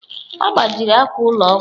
A gbajiri akwa ụlọ ọgwụ.